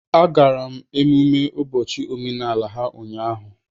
Agara m emumme ụbọchị omenala ha ụnyahụ